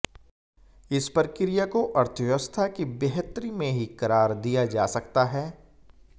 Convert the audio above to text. इस प्रक्रिया को अर्थव्यवस्था की बेहतरी में ही करार दिया जा सकता है